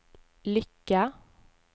lykke